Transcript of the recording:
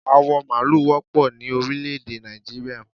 Awọ maalu wọ́pọ̀ ni orílẹ̀ èdè Nàìjíríà